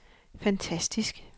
fantastisk